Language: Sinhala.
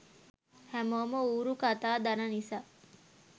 හැමෝම ඌරු කතා දන නිසා